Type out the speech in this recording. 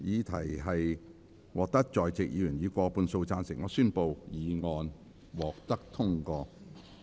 由於議題獲得在席議員以過半數贊成，他於是宣布議案獲得通過。